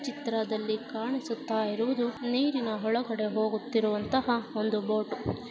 ಈ ಚಿತ್ರದಲ್ಲಿ ಕಾಣಿಸುತ್ತಾ ಇರುವುದು ನೀರಿನ ಒಳಗಡೆ ಹೋಗುತ್ತಿರುವಂತಹ ಒಂದು ಬೋಟು .